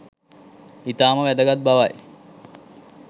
ඉතාම වැදගත් බවයි